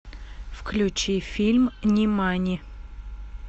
включи фильм нимани